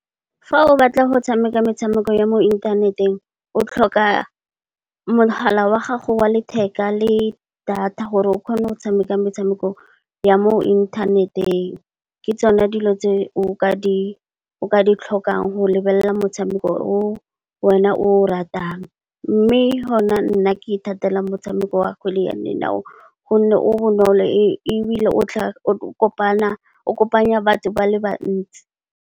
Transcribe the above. Fa o batla go tshameka metshameko ya mo inthaneteng, o tlhoka mogala wa gago wa letheka le data gore o kgone go tshameka metshameko ya mo inthaneteng. Ke tsone dilo tse o ka di tlhokang go lebelela motshameko o wena o ratang. Mme, hona nna ke ithatela motshameko wa kgwele ya dinao gonne, o bonolo ebile o kopanya batho ba le bantsi.